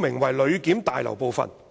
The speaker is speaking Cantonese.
明為旅檢大樓部分"。